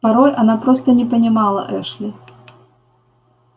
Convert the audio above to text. порой она просто не понимала эшли